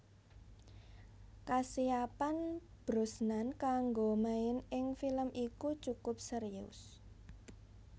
Kasiapan Brosnan kanggo main ing film iku cukup serius